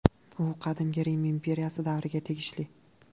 U Qadimgi Rim imperiyasi davriga tegishli.